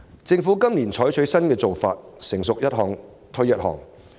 政府今年採取新做法，政策"成熟一項推一項"。